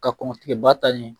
Ka kɔn tigɛba ta ɲɛ